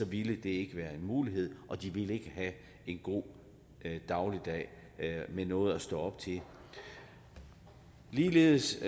ville det ikke være en mulighed og de ville ikke have en god dagligdag med noget at stå op til ligeledes